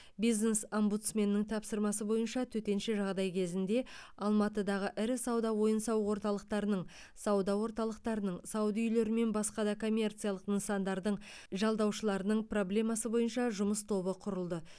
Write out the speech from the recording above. бизнес омбудсменнің тапсырмасы бойынша төтенше жағдай кезінде алматыдағы ірі сауда ойын сауық орталықтарының сауда орталықтарының сауда үйлері мен басқа да коммерциялық нысандардың жалдаушыларының проблемасы бойынша жұмыс тобы құрылды